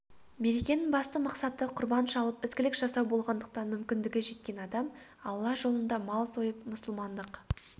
мерекенің басты мақсаты құрбан шалып ізгілік жасау болғандықтан мүмкіндігі жеткен адам алла жолында мал сойып мұсылмандық